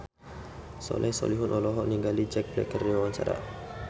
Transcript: Soleh Solihun olohok ningali Jack Black keur diwawancara